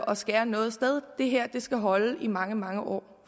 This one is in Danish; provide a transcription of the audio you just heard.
og skære noget sted det her skal holde i mange mange år